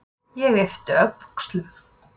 Ég yppti öxlum.